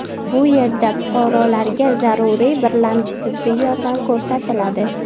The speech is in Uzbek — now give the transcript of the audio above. Bu yerda fuqarolarga zaruriy birlamchi tibbiy yordam ko‘rsatiladi.